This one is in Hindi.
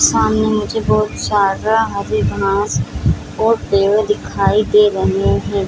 सामने मुझे बहुत सारा हरी घांस और पेड़ दिखाई दे रहे हैं।